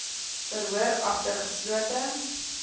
verhoor agter geslote